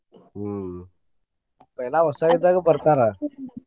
ಹ್ಮ್ पहला ಹೊಸಾದ್ ಇದ್ದಾಗ ಬರ್ತಾರ.